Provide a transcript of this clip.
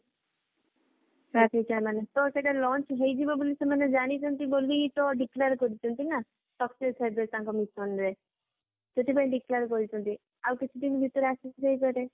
ସେଇଟା launch ହେଇଯିବ ବୋଲି ସେମାନେ ଜାଣିଛନ୍ତି ବୋଲି ତ declare କରିଛନ୍ତି ନା success ହେବେ ତାଙ୍କ mission ରେ ସେଥିପାଇଁ declare କରିଛନ୍ତି ଆଉ କିଛି ଭିତରେ ଆସିଯାଇପାରେ